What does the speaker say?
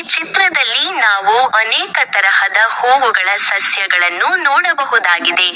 ಚಿತ್ರದಲ್ಲಿ ನಾವು ಅನೇಕ ತರಹದ ಹೂವುಗಳ ಸಸ್ಯಗಳನ್ನು ನೋಡಬಹುದಾಗಿದೆ.